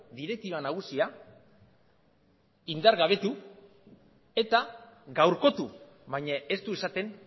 direktiba nagusia indargabetu eta gaurkotu baina ez du esaten